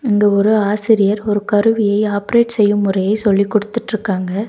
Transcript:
இந்த ஒரு ஆசிரியர் ஒரு கருவியை ஆப்ரேட் செய்யும் முறையை சொல்லிக் குடுத்துட்ருக்காங்க.